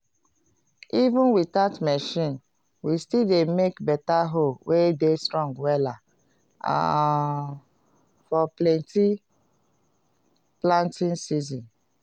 even without machine we still dey make beta hoe wey dey strong wela um for plenty planting season